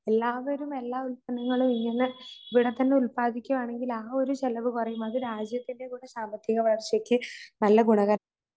എല്ലാവരും എല്ലാ ഉത്പന്നങ്ങളും ഇങ്ങനെ ഇവിടെത്തന്നെ ഉൽപാദിപ്പിക്കുവാണെങ്കിൽ ആഒരു ചിലവ്കുറയും അത് രാജ്യത്തിന്റെകൂടെ സാമ്പത്തികവളർച്ചക്ക് നല്ല ഗുണക